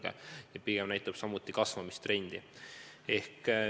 Lisaks see pigem näitab samuti kasvamistrendi.